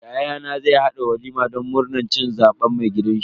Yayana zai haɗa walima don murnan cin zaben mai gidanshi.